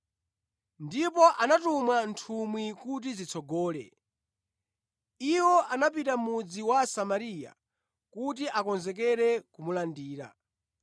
ndipo anatuma nthumwi kuti zitsogole. Iwo anapita mʼmudzi wa Asamariya kuti akonzekere kumulandira,